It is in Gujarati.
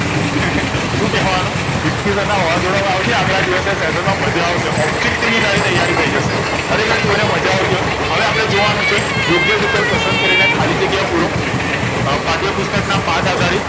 શું કેવા નું વિકિ sir ના વાવાજોડા માં આવજે આગળ દિવસે session માં માજા આવશે object ની તારી તૈયારી થઈજશે ખરેખરે કોઈ ને માજા આવતી હોય હવે અપડે જોવા નું છે યોગ્ય વિકલ્પ પસંદ કરીને ખાલી જગ્યા પૂરો પાઠયપુસ્તક ના પાઠ